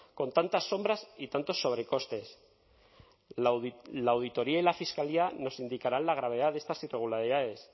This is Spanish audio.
con tantas sombras y tantos sobrecostes la auditoría y la fiscalía nos indicarán la gravedad de estas irregularidades